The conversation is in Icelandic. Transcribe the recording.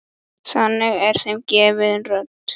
Þannig er þeim gefin rödd.